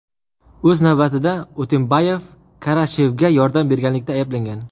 O‘z navbatida, Utembayev Karashevga yordam berganlikda ayblangan.